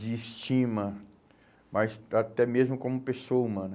de estima, mas até mesmo como pessoa humana.